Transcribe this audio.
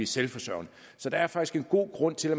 selvforsørgende så der er faktisk en god grund til at